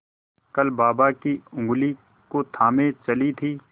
कल बाबा की ऊँगली को थामे चली थी